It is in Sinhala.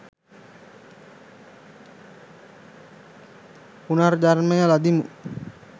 පුනර්ජන්මය ලදිමු.